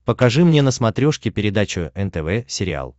покажи мне на смотрешке передачу нтв сериал